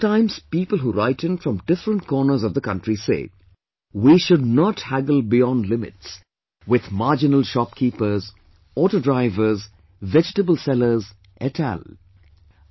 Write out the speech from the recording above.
Sometimes people who write in from different corners of the country say, "We should not haggle beyond limits with marginal shopkeepers, auto drivers, vegetable sellers et al"